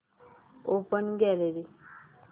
open gallery